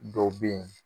Dɔw bɛ yen